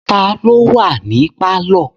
Ta ló wà ní pálọ̀?